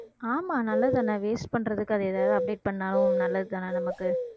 ஆமா நல்லதுதானே waste பண்றதுக்கு அது ஏதாவது update பண்ணாலும் நல்லதுதானே நமக்கு